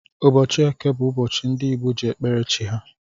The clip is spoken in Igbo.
Ụbọchị eke bú ụbọchị ndị ji ekpere chi ha.